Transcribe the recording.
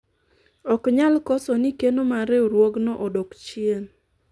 ok nyal koso ni keno mar riwruogno odok chien